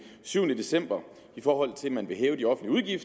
syvende december i forhold til at man vil hæve de offentlige